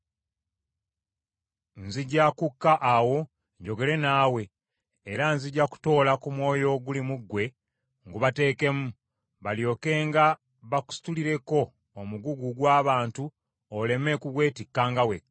Nzija kukka awo njogere naawe; era nzija kutoola ku mwoyo oguli mu ggwe ngubateekemu, balyokenga bakusitulireko omugugu gw’abantu oleme kugwetikkanga wekka.